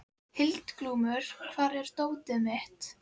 Hildiglúmur, hvar er dótið mitt?